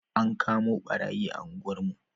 An kamo ɓarayi a unguwar mu